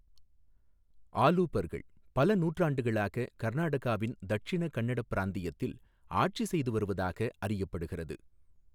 ஆலுபர்கள், பல நூற்றாண்டுகளாக கர்நாடகாவின் தட்சிண கன்னட பிராந்தியத்தில் ஆட்சி செய்து வருவதாக அறியப்படுகிறது.